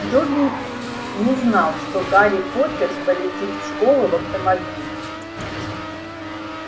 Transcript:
добби не знал что гарри поттер полетит в школу в автомобиле